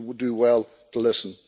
So we would do well to listen.